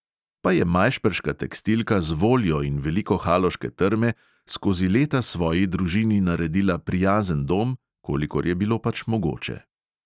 Pa je majšperška tekstilka z voljo in veliko haloške trme skozi leta svoji družini naredila prijazen dom, kolikor je bilo pač mogoče.